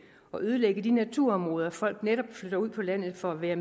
at ødelægge de naturområder folk netop flytter ud på landet for at være